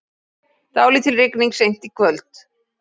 Dálítil rigning seint í kvöld